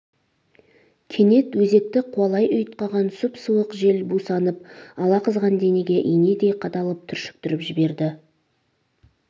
кенет өзекті қуалай ұйтқыған сұп-суық жел бусанып алақызған денеге инедей қадалып түршіктіріп жіберді